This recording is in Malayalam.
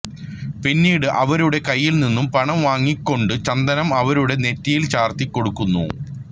പിന്നീട് അവരുടെ കയ്യിൽ നിന്നും പണം വാങ്ങിക്കൊണ്ടു ചന്ദനം അവരുടെ നെറ്റിയിൽ ചാർത്തിക്കൊടുക്കുന്നു